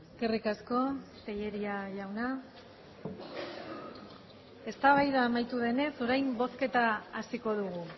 eskerrik asko tellería jauna eztabaida amaitu denez orain bozketa hasiko dugu